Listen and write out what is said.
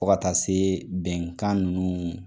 Fɔ ka taa se bɛnkan ninnu.